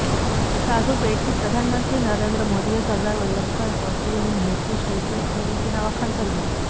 સાધુબેટથી પ્રધાનમંત્રી નરેન્દ્ર મોદીએ સરદાર વલ્લભભાઈ પટેલની મૂર્તિ સ્ટેચ્યૂ ઓફ યૂનિટીના વખાણ કર્યા